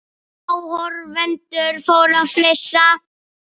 Áhorfendur fóru að flissa.